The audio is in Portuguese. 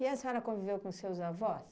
E a senhora conviveu com seus avós?